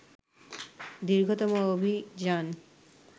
দীর্ঘতম অভিযান